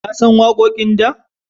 Ya san waƙoƙin da?